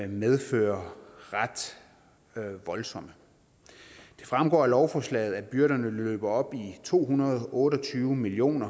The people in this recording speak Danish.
medfører ret voldsomme det fremgår af lovforslaget at byrderne løber op i to hundrede og otte og tyve million